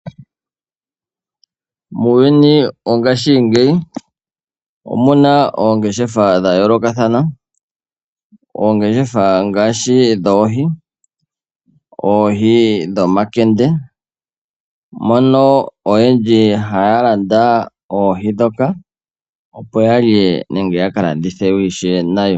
Muuyuni mongaashingeyi omuna oongeshefa dha yoolokathana. Oongeshefa ngaashi dhoohi, oohi dhomankende mono oyendji haya landa oohi ndhoka opo yalye nenge yaka landithe ishewe nayo.